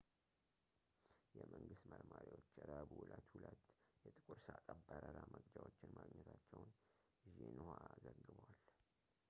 የመንግስት መርማሪዎች ረቡዕ ዕለት ሁለት የጥቁር ሣጥን የበረራ መቅጃዎችን ማግኘታቸውን ዢንህዋ ዘግቧል